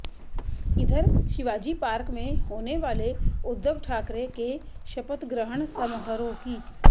इधर शिवाजी पार्क में होने वाले उद्धव ठाकरे के शपथग्रहण समारोह की